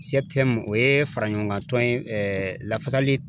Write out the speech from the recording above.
o ye fara ɲɔgɔn kan lafasali